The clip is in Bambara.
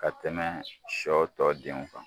Ka tɛmɛ sɔ tɔ denw kan